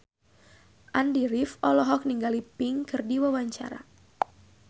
Andy rif olohok ningali Pink keur diwawancara